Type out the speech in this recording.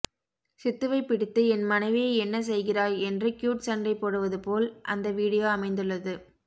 சித்துவை பிடித்து என் மனைவியை என்ன செய்கிறாய் என்று கியூட் சண்டை போடுவது போல் அந்த வீடியோ அமைந்துள்ளது